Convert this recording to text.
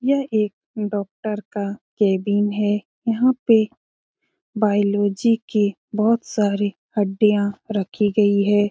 यह एक डॉक्टर का केबिन है यहाँ पे बायोलॉजी के बहुत सारे हड्डियां रखी गई हैं ।